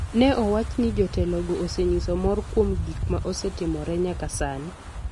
Ne owach ni jotelogo osenyiso mor kuom gik ma osetimore nyaka sani,